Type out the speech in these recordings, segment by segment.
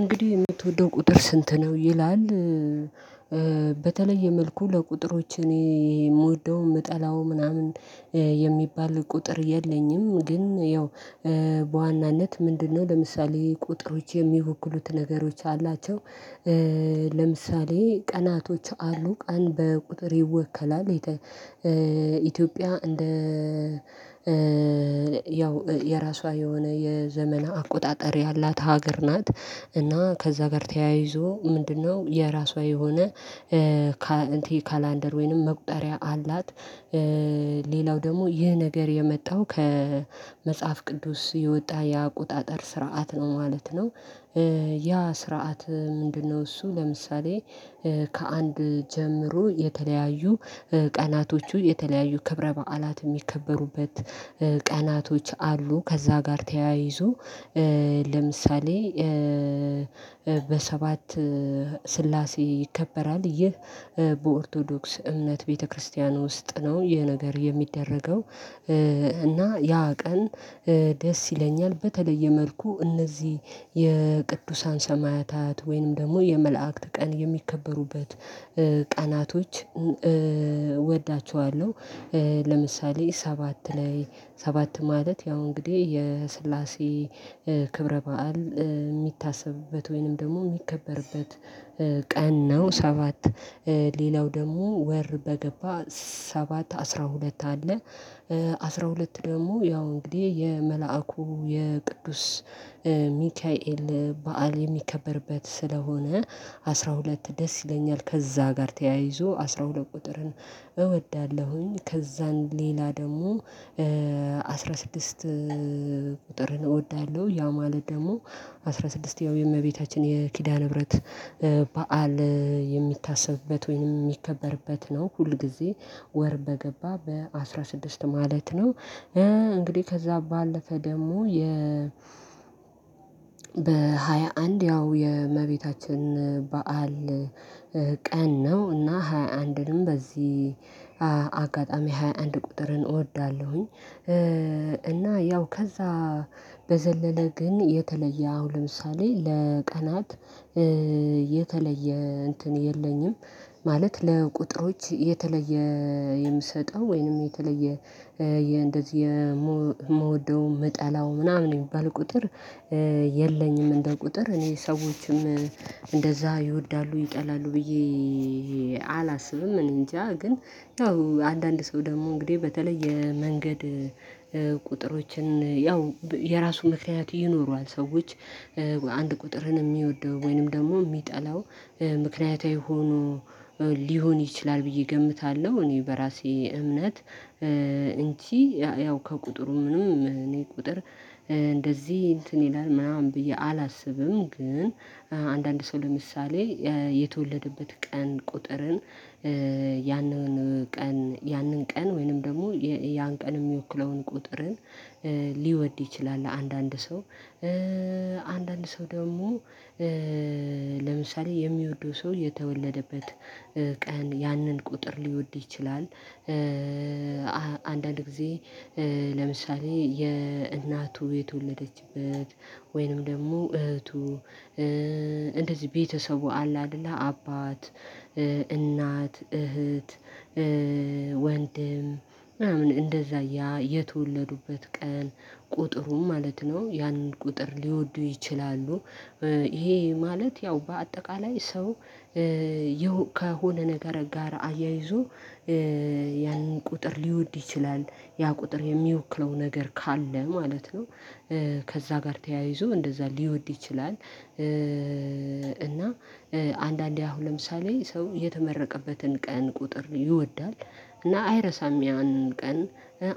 እንግዲህ የምትወደው ቁጥር ስንት ነው ይላል? በተለየ መልኩ ለቁጥሮች እኔ የምወደው የምጠላው ምናምን የሚባል ቁጥር የለኝም። ግን ያው በዋናነት ምንድነው ለምሳሌ ቁጥሮች የሚወክሉት ነገሮች አላቸው። ለምሳሌ ቀናቶች አሉ ቀን በቁጥር ይወከላል። ኢትዮጵያ እንደ ያው የራሷ የሆነ የዘመን አቆጣጠር ያላት ሀገር ናት። እና ከዛ ጋር ተያይዞ ምንድነው? የራሷ የሆነ ካላንደር ወይንም መቁጠሪያ አላት። ሌላው ደግሞ ይህ ነገር የመጣው ከመጽሐፍ ቅዱስ የወጣ የአቆጣጠር ስርዓት ነው ማለት ነው። ያ ስርዓት ምንድነው? እሱ ለምሳሌ ከ አንድ ጀምሮ የተለያዩ ቀናቶቹ የተለያዩ ክብረ በዓላት የሚከበሩበት ቀናቶች አሉ። ከዛ ጋር ተያይዞ ለምሳሌ በሰባት ስላሴ ይከበራል። ይህ በኦርቶዶክስ እምነት ቤተክርስቲያን ውስጥ ነው ይህ ነገር የሚደረገው። እና ያ ቀን ደስ ይለኛል በተለየ መልኩ እነዚህ የቅዱሳን ሰማያታት ወይንም ደግሞ የመላእክት ቀን የሚከበሩበት ቀናቶች እወዳቸዋለሁ። ለምሳሌ ሰባት ላይ ሰባት ማለት ያው እንግዲህ የስላሴ ክብረ በዓል የሚታሰብበት ወይንም ደግሞ የሚከበርበት ቀን ነው። ሰባት ሌላው ደግሞ ወር በገባ ሰባት አስራ ሁለት አለ። አስራ ሁለት ደግሞ ያው እንግዲህ የመላኩ የቅዱስ ሚካኤል በዓል የሚከበርበት ስለሆነ አስራ ሁለት ደስ ይለኛል። ከዛ ጋር ተያይዞ አስራ ሁለት ቁጥርን እወዳለሁኝ። ከዛን ሌላ ደግሞ ስድስት ቁጥር እወዳለሁ። ያ ማለት ደግሞ አስራ ስድስት ያው የእመቤታችን የኪዳነ ምህረት በዓል የሚታሰብበት ወይም የሚከበርበት ነው። ሁል ጊዜ ወር በገባ በአስራ ስድስት ማለት ነው። እንግዲህ ከዛ ባለፈ ደግሞ የ በሃያ አንድ ያው የእመቤታችን በዓል ቀን ነው። እና ሃያአንድንም በዚህ አጋጣሚ ሃያአንድ ቁጥርን እወዳለሁኝ። እና ያው ከዛ በዘለለ ግን የተለየ አሁን ለምሳሌ ለቀናት የተለየ እንትን የለኝም። ማለት ለቁጥሮች የተለየ የምሰጠው ወይንም የተለየ እንደዚህ የምወደው የምጠላው ምናምን ነው የሚባል ቁጥር የለኝም። እንደ ቁጥር እኔ ሰዎችም እንደዛ ይወዳሉ ይጠላሉ ብዬ አላስብም። እኔ እንጃ ግን ያው አንዳንድ ሰው ደግሞ በተለየ መንገድ ቁጥሮችን ያው የራሱ ምክንያት ይኖረዋል። ሰዎች አንድ ቀጥርን የሚወደው ወይንም ደግሞ የሚጠላው ምክንያታዊ ሆኖ ሊሆን ይችላል ብዬ እገምታለሁ። እኔ በራሴ እምነት እንጂ ያው ከቁጥሩ ምንም እኔ ቁጥር እንደዚህ እንትን ይላል ምናምን ብዬ አላስብም። ግን አንዳንድ ሰው ለምሳሌ የተወለዱበት ቀን ቁጥርን ያንን ቀን ወይም ያንን ቀን የሚወክለውን ለምሳሌ የሚወደው ሰው የተወለደበት ቀን ያንን ቁጥር ሊወደው ይችላል። አንዳንድ ጊዜ ለምሳሌ የእናቱ የተወለደችበት ወይንም ደግሞ እህቱ እንደዚህ ቤተሰቡ አለ አይደለም አባት እናት እህት ወንድም ምናምን እንደዛ የተወለዱበት ቀን ቁጥሩን ማለት ነው ያንን ቁጥር ሊወዱ ይችላሉ። ይህ ማለት ያው በአጠቃላይ ሰው ከሆነ ነገር ጋር አያይዞ ያንን ቁጥር ሊወደው ይችላል ያ ቁጥር የሚወክለው ነገር ካለ ማለት ነው። ከዛ ጋር ተያይዞ እንደዛ ሊወደው ይችላል። እና አንዳንዴ አሁን ለምሳሌ ሰው የተመረቀበትን ቀን ቁጥር ይወዳል። እና አይረሳም ያን ቀን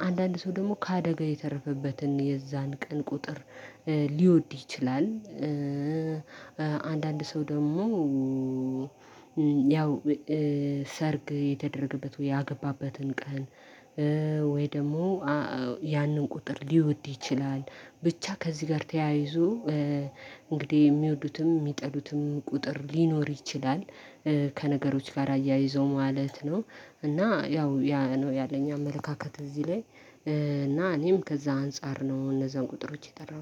አንዳንድ ሰው ደግሞ ከአደጋ የተረፈበትን የዛን ቀን ቁጥር ሊወደው ይችላል። አንዳንድ ሰው ደግሞ ያው ሰርግ የተደረገበትን ወይም ያገባበትን ቀን ወይም ደግሞ ያንን ቁጥር ሊወደው ይችላል። በቻ ከዚህ ጋር ተያይዞ እንግዲህ የሚወዱትም የሚጠሉትም ቁጥር ሊኖር ይችላል። ከነገሮች ጋር አያይዞ ማለት ነው። እና ያው ያነው ያለኝ አመለካከት እዚህ ላይ እና እኔም ከዛ አንፃር ነው እነዛን ቁጥሮች የጠራሁት